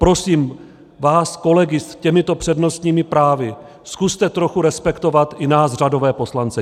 Prosím vás kolegy s těmito přednostními právy, zkuste trochu respektovat i nás, řadové poslance.